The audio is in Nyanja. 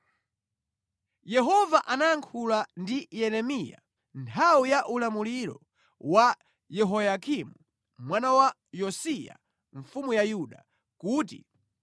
Yehova anayankhula ndi Yeremiya nthawi ya ulamuliro wa Yehoyakimu mwana wa Yosiya mfumu ya Yuda, kuti: